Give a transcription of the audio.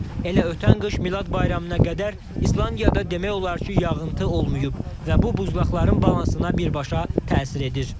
Elə ötən qış Milad bayramına qədər İslandiyada demək olar ki, yağıntı olmayıb və bu buzlaqların balansına birbaşa təsir edir.